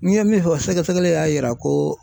N ye min fɔ sɛgɛsɛgɛli y'a yira ko